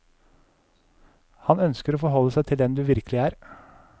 Han ønsker å forholde seg til den du virkelig er.